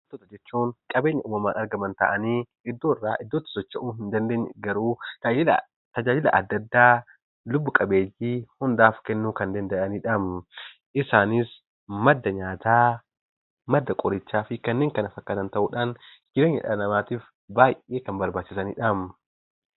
Biqiltoota jechuun qabeenya uumamaan argaman ta'anii, iddoo irraa iddootti socho'uu hin dandeenye garuu tajaajila adda addaa lubbu qabeeyyii hundaaf kennuu kan danda'anidha. Isaanis: madda nyaataa, madda qorichaa fi kanneen kana fakkatan ta'uudhaan jireenya dhala namaatiif baay'ee kan barbaachianidha.